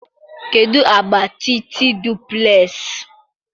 kedụ agba Titi duplex?